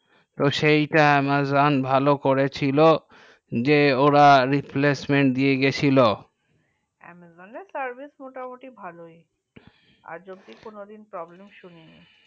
তো সেইটা amazon ভালো দিয়ে ছিল যে ওরা replacement দিয়ে গেছিলো amazon service মোটামুটি ভালোই আজ অব্দি কোনো দিন problem সুনি নি